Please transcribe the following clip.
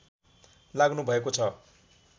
लाग्नु भएको छ